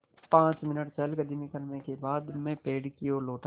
पाँच मिनट चहलकदमी करने के बाद मैं पेड़ की ओर लौटा